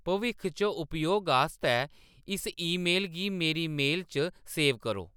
भविक्ख च उपयोग आस्तै इस ईमेल गी मेरी मेल च सेव करो